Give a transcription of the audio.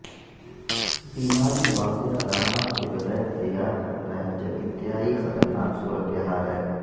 بیماری واضح علامات کے بغیر تیار کرتا ہے جب انتہائی خطرناک صورت حال ہے